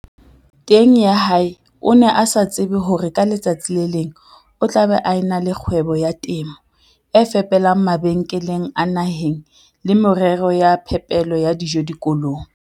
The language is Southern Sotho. Teng ya hae o ne a sa tsebe hore ka letsatsi le leng o tla be a e na le kgwebo ya temo e fepelang mabenkele a naheng le merero ya phepelo ya dijo dikolong.